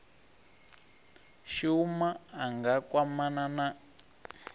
shuma a nga kwamana na